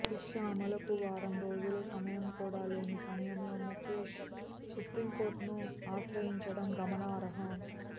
శిక్ష అమలుకు వారం రోజులు సమయం కూడా లేని సమయంలో ముకేశ్ సుప్రీంకోర్టును ఆశ్రయించడం గమనార్హం